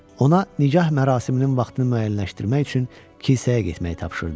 Ona nikah mərasiminin vaxtını müəyyənləşdirmək üçün kilsəyə getməyi tapşırdı.